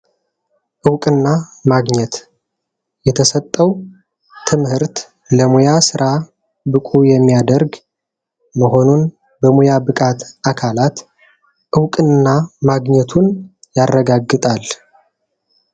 እውቅና ማግኘት የተሰጠው ትምህርት ለሙያ ስራ ብቁ የሚያደርግ መሆኑን በሙያ ብቃት አካላት እውቅና ማግኘቱን ያረጋግጣል።